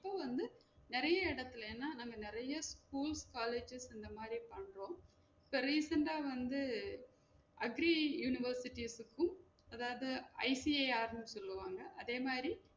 இப்போ வந்து நெறைய எடத்துல ஏனா நாம நெறைய school ஸ், college ஸ் இந்த மாதிரி பண்றோம் இப்போ recent ஆ வந்து agri universities க்கும் அதாவது ICAR ன்னு சொல்வாங்க அதே மாறி